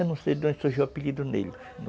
Eu não sei de onde surgiu o apelido nele.